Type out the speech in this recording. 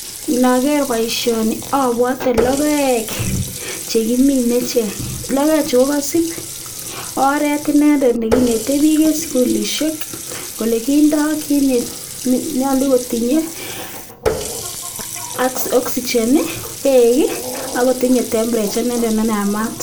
Ndoker boisioni abwote logoek chekimine. Logoek chu kokasib oret inendet nekinete biik en sugulisiek kole kindo kiit nenyolukotinye ,oxygen, beek akotinye temperature inendet neyamat.